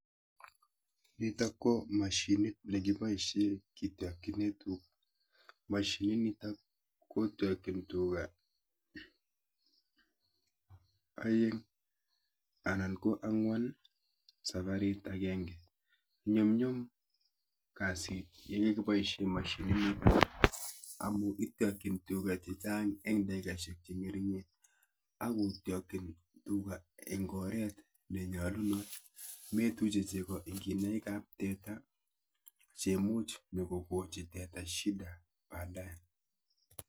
Nito ko moshinit nekiboisien kityokinen tuga. Moshinit nito kotyokyin tuga oeng' anan ko ang'wan sabarit agenge. Nyumnyum kasit yekiboisien moshinit nito amun ityokyin tuga chechang' en takikaisiek cheng'ering'en ako tyokyin tuga en oret nenyolunot; moituche chego en kinaik ab teta cheimuch nyo kokochi teta shida baadaye.